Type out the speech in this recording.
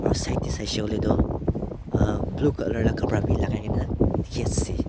side te saise tu a blue colour laga kapara bhi lagai kini aase.